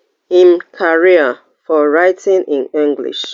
im career for writing in english